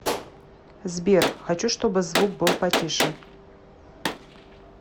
сбер хочу чтобы звук был потише